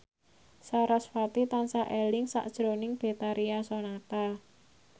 sarasvati tansah eling sakjroning Betharia Sonata